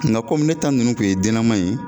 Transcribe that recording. Nga ne ta ninnu kun ye dennaman ye.